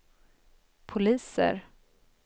poliser